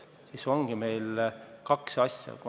Siin on kaks asja.